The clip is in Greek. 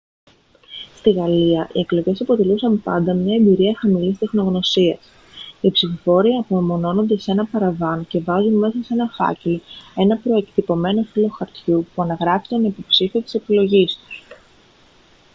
στη γαλλία οι εκλογές αποτελούσαν πάντα μια εμπειρία χαμηλής τεχνογνωσίας οι ψηφοφόροι απομονώνονται σε ένα παραβάν και βάζουν σε ένα φάκελο ένα προεκτυπωμένο φύλλο χαρτιού που αναγράφει τον υποψήφιο της επιλογής τους